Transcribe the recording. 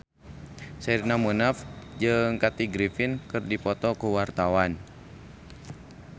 Sherina Munaf jeung Kathy Griffin keur dipoto ku wartawan